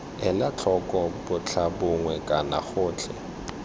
ela tlhoko botlhabongwe kana gotlhe